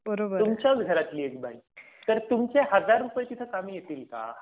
बरोबर, तुमच्याच घरातली एक बाई तर तुमचे हजार रुपये तिथेच कामी येतील का?